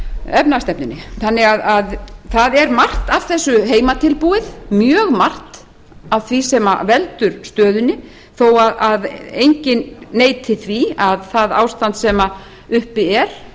efnahagsstefnunni þannig að það er margt af þessu heimatilbúið mjög margt af því sem veldur stöðunni þó enginn neiti því að það ástand sem uppi er